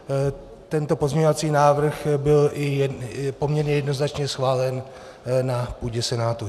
Tento pozměňovací návrh byl i poměrně jednoznačně schválen na půdě Senátu.